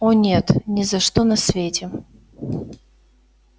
о нет ни за что на свете